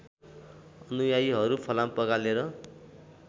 अनुयायीहरू फलाम पगालेर